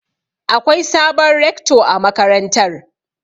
Akwai sabon Rekto a makarantar.